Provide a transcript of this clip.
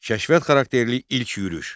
Kəşfiyyat xarakterli ilk yürüş.